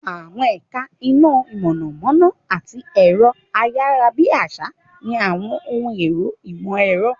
Àwọn ẹ̀ka iná mọ̀nàmọ́ná àti ẹ̀rọ-ayárabíàsá ní àwọn ohun èlò ìmọ̀-ẹ̀rọ.